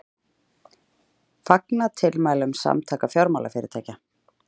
Fagna tilmælum Samtaka fjármálafyrirtækja